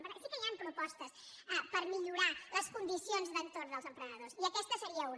per tant sí que hi han propostes per millorar les condicions d’entorn dels emprenedors i aquesta en seria una